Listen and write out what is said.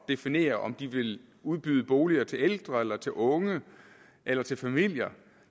definere om de vil udbyde boliger til ældre eller til unge eller til familier